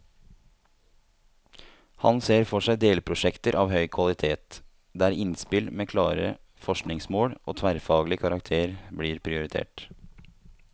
Han ser for seg delprosjekter av høy kvalitet, der innspill med klare forskningsmål og tverrfaglig karakter blir prioritert.